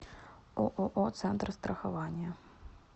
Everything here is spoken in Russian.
ооо центр страхования